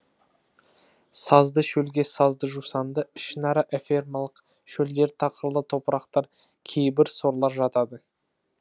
сазды шөлге сазды жусанды ішінара эфемалық шөлдер тақырлы топырақтар кейбір сорлар жатады